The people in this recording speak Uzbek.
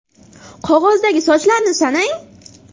Qog‘ozdagi sochlarni sanang.